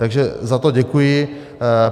Takže za to děkuji.